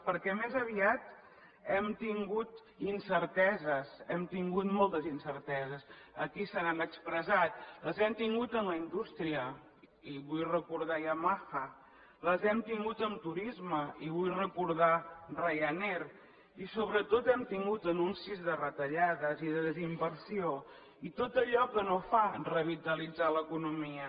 perquè més aviat hem tingut incerteses hem tingut moltes incerteses aquí se n’han expressat les hem tingut en la indústria i vull recordar yamaha les hem tingut en turisme i vull recordar ryanair i sobretot hem tingut anuncis de retallades i de desinversió i tot allò que no fa revitalitzar l’economia